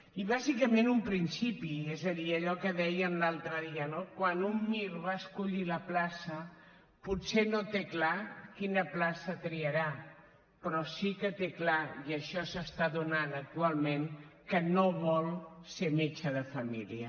i bàsicament un principi és a dir allò que dèiem l’altre dia no quan un mir va a escollir la plaça potser no té clar quina plaça triarà però sí que té clar i això s’està donant actualment que no vol ser metge de família